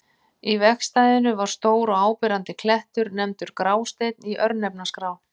Í vegstæðinu var stór og áberandi klettur, nefndur Grásteinn í örnefnaskrá.